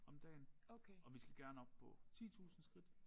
Om dagen og vi skal gerne op på 10000 skridt